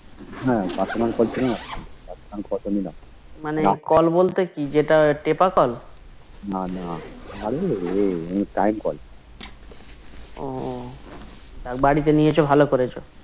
হা Call personal ছিলনা তো আমাদের Call personal call টা নিলাম না না আরে রে Time call